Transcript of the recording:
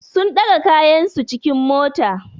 Sun ɗaga kayansu cikin mota.